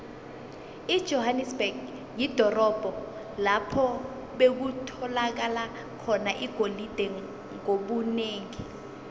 ijohanesberg lidorobho lapho bekutholakala khona igolide ngobunengi